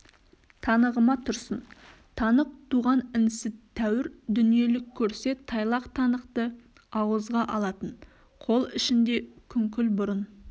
танығыма тұрсын танық туған інісі тәуір дүниелік көрсе тайлақ танықты ауызға алатын қол ішінде күңкіл бұрын